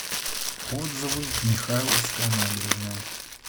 отзывы михайловская набережная